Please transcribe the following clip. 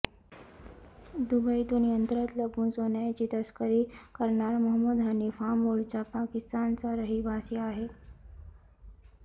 दुबईतून यंत्रात लपवून सोन्याची तस्करी करणारा मोहम्मद हनीफ हा मूळचा पाकिस्तानचा रहिवासी आहे